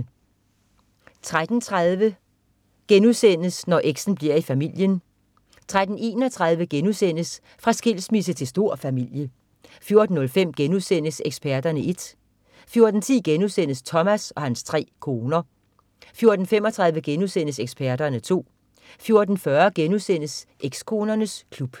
13.30 Når eks'en bliver i familien* 13.31 Fra skilsmisse til stor familie* 14.05 Eksperterne 1* 14.10 Thomas og hans 3 koner* 14.35 Eksperterne 2* 14.40 Ekskonernes klub*